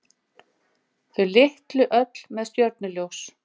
Þau litlu öll með stjörnuljós.